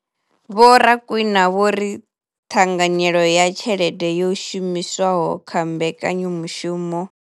Vho Rakwena vho ri ṱhanganyelo ya tshelede yo shumiswaho kha mbekanya mushumo.